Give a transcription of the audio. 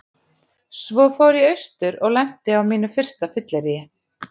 Svo fór ég austur og lenti á mínu fyrsta fylleríi.